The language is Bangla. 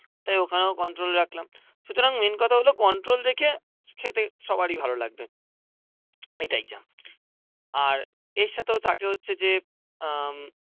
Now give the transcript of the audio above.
তাই ওখানেও কন্ট্রোল রাখলাম. সুতরাং মেন্ কথাগুলো কন্ট্রোল দেখে খেতে সবারই ভালো লাগবে এইটাই যা. আর এর সাথেও থাকে হচ্ছে যে উম